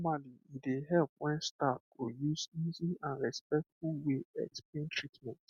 normally e dey help when staff go use easy and respectful way explain treatment